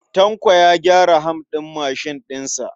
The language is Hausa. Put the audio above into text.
Tanko ya gyara ham ɗin mashin ɗin sa.